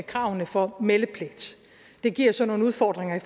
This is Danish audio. kravene for meldepligt det giver så nogle udfordringer i